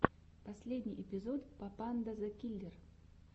последний эпизод папанда зэ киллер